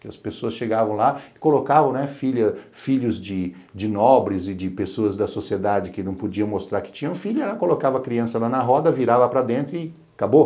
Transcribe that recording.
que as pessoas chegavam lá e colocavam filhos de de nobres e de pessoas da sociedade que não podiam mostrar que tinham filhos, colocava a criança lá na roda, virava para dentro e acabou.